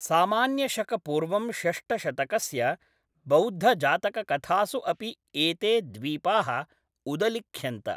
सामान्यशक पूर्वं षष्ठशतकस्य बौद्धजातककथासु अपि एते द्वीपाः उदलिख्यन्त।